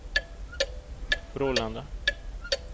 Brålanda